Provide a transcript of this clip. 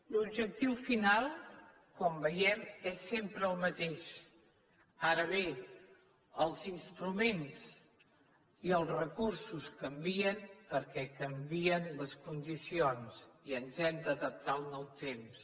l’objectiu final com veiem és sempre el mateix ara bé els instruments i els recursos canvien perquè canvien les condicions i ens hem d’adaptar al nou temps